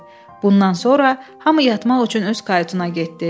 Bundan sonra hamı yatmaq üçün öz kayutuna getdi.